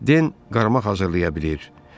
Den kəndir yarmaq hazırlaya bilir.